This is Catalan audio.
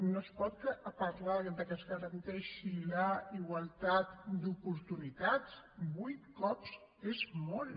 no es pot parlar de que es garanteixi la igualtat d’oportunitats vuit cops és molt